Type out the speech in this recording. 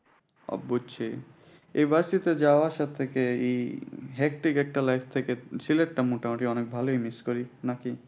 আহ বুজচ্ছি। এই varsity যাওয়া আসা থেকে এই হেট্টিক একটা life থেকে সিলেটটা মোটামুটি অনেক ভালোই miss করি। নাকি?